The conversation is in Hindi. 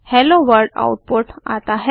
हेलो वर्ल्ड आउटपुट आता है